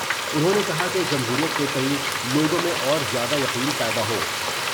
انہوں نے کہا کہ جمہوریت کے تئیں لوگوں میں اور زیادہ یقین پیدا ہو ،